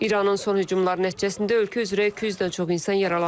İranın son hücumları nəticəsində ölkə üzrə 200-dən çox insan yaralanıb.